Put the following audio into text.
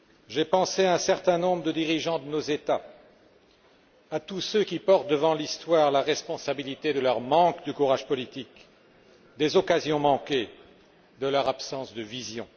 J'ai pensé à un certain nombre de dirigeants de nos États, à tous ceux qui portent devant l'Histoire la responsabilité de leur manque de courage politique, des occasions manquées, de leur absence de vision.